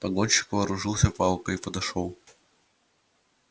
погонщик вооружился палкой и подошёл